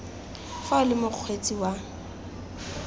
fa o le mokgweetsi wa